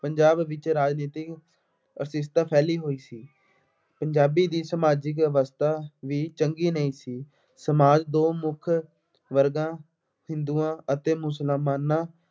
ਪੰਜਾਬ ਵਿੱਚ ਰਾਜਨੀਤਿਕ ਅਨਿਸ਼ਚਿਤਤਾ ਫੈਲੀ ਹੋਈ ਸੀ। ਪੰਜਾਬੀ ਦੀ ਸਮਾਜਿਕ ਵਿਵਸਥਾ ਵੀ ਚੰਗੀ ਨਹੀਂ ਸੀ। ਸਮਾਜ ਦੋ ਮੁੱਖ ਵਰਗਾਂ ਹਿੰਦੂਆਂ ਅਤੇ ਮੁਸਲਮਾਨਾਂ